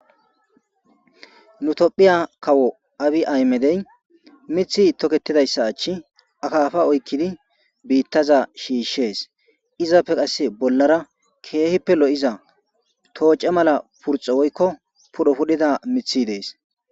Nu tophiya kawo abi ahimedey mithi toketidayssa achcha akaafa oykkidi biittaza shiishees. Izappe qasse bollara keehippe lo7iza tooce mala purxe woykko pudho pudhida mithi dees.